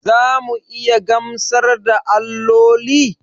Za mu iya gamsar da alloli?